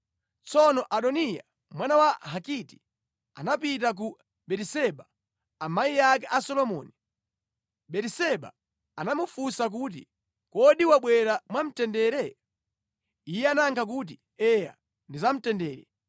Tsono Adoniya, mwana wa Hagiti, anapita kwa Batiseba, amayi ake a Solomoni. Batiseba anamufunsa kuti, “Kodi wabwera mwamtendere?” Iye anayakha kuti, “Eya, ndi zamtendere.”